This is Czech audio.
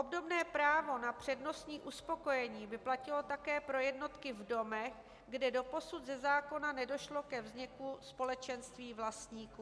Obdobné právo na přednostní uspokojení by platilo také pro jednotky v domech, kde doposud ze zákona nedošlo ke vzniku společenství vlastníků.